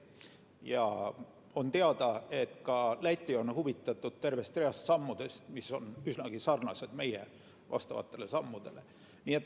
Ja on teada, et ka Läti on huvitatud tervest reast sammudest, mis on üsnagi sarnased meie vastavate sammudega.